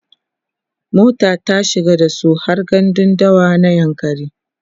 mota ta shiga dasu har gandun dawa na yankari